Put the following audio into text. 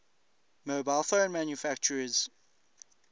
mobile phone manufacturers